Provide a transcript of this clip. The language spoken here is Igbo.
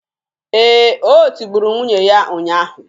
Ee, o tigburu nwunye ya ụnyaahụ